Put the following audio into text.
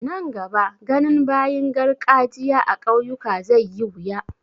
Nan gaba ganin bayin garkajiya a ƙauyuka zai yi wuya.